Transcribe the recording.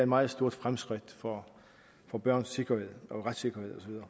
meget stort fremskridt for for børns retssikkerhed og